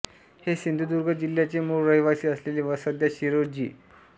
हे सिंधुदुर्ग जिल्ह्याचे मूळ रहिवासी असलेले व सध्या शिरूर जि